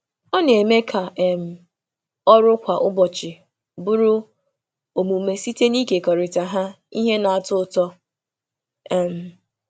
Ọ na-eme ka ọrụ kwa ụbọchị ọrụ kwa ụbọchị bụrụ omume site n’ịkekọrịta ha na ihe na-atọ ụtọ.